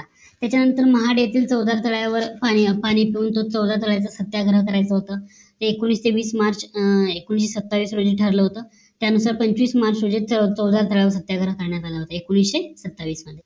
त्याचा नंतर महाड येथील चौदा स्थळावर पाणी पाणीपुरतं चौदा स्थळांचं सत्याग्रह करायचं होत ते एकोणीशे वीस मार्च अं एकोणीशे सत्तावीस रोजी ठरला होत त्या नंतर पंचवीस मार्च रोजी चौदा स्थळावर सत्याग्रह करण्यात आले होते एकोणीशे सत्तावीस मध्ये